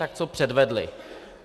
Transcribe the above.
Tak co předvedli?